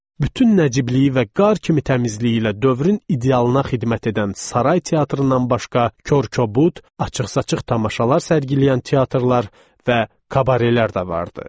Bütün Nəciblik və qar kimi təmizliyi ilə dövrün idealına xidmət edən saray teatrından başqa, korkobud, açıq-saçıq tamaşalar sərgiləyən teatrlar və kabarelər də vardı.